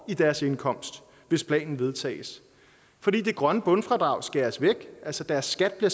deres indkomst hvis planen vedtages fordi det grønne bundfradrag skæres væk deres skat bliver